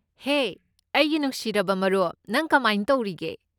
ꯍꯦ ꯑꯩꯒꯤ ꯅꯨꯡꯁꯤꯔꯕ ꯃꯔꯨꯞ, ꯅꯪ ꯀꯃꯥꯏ ꯇꯧꯔꯤꯒꯦ?